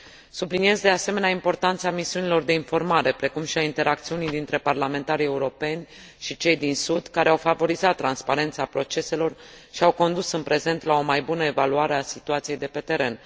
Subliniez, de asemenea, importanța misiunilor de informare, precum și a interacțiunii dintre parlamentarii europeni și cei din sud, care au favorizat transparența proceselor și au condus în prezent la o mai bună evaluare a situației de pe teren.